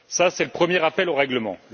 C'est le premier rappel au règlement.